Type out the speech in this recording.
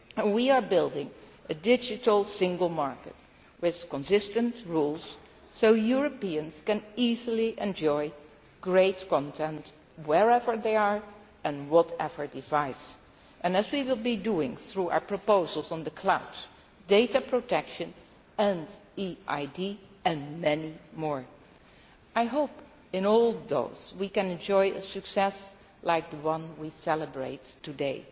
us. We are building a digital single market with consistent rules so that Europeans can easily enjoy great content, wherever they are and whatever device they are using as we will be doing through our proposals on the cloud, data protection, e ID and many more. I hope with all those we can enjoy a success like the one we are celebrating today.